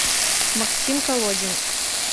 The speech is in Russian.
максим колодин